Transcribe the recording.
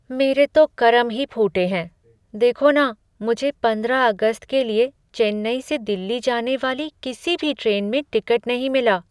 मेरे तो करम ही फूटे हैं, देखो न, मुझे पंद्रह अगस्त के लिए चेन्नई से दिल्ली जाने वाली किसी भी ट्रेन में टिकट नहीं मिला।